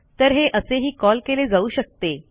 तर हे असेही कॉल केले जाऊ शकते